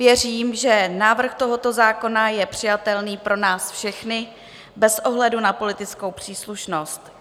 Věřím, že návrh tohoto zákona je přijatelný pro nás všechny bez ohledu na politickou příslušnost.